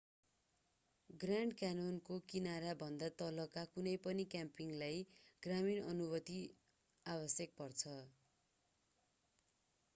grand क्यान्योनको किनाराभन्दा तलका कुनै पनि क्याम्पिङलाई ग्रामीण अनुमति आवश्यक पर्छ